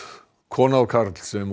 kona og karl sem